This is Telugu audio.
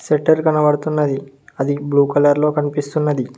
షట్టర్ కనబడుతున్నది అది బ్లూ కలర్ లో కనిపిస్తున్నది.